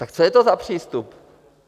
Tak co je to za přístup?